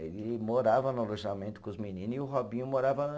Ele morava no alojamento com os menino e o Robinho morava na